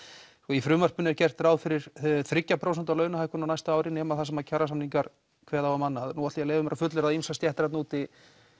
í frumvarpinu er gert ráð fyrir þriggja prósenta launahækkun á næstu ári nema þar sem kjarasamningar kveða á um annað nú ætla ég að leyfa mér að fullyrða að ýmsar stéttir þarna úti